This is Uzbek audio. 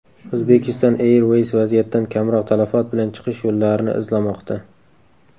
Uzbekistan Airways vaziyatdan kamroq talafot bilan chiqish yo‘llarini izlamoqda.